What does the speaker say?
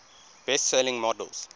best selling models